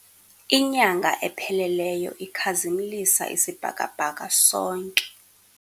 Inyanga epheleleyo ikhazimlisa isibhakabhaka sonke.